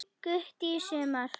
Gutti í sumar.